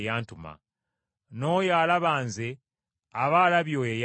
N’oyo alaba Nze aba alabye oli eyantuma.